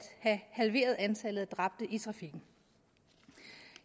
have halveret antallet af dræbte i trafikken